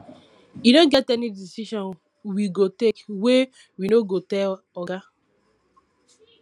e no get any decision we go take wey we no go tell oga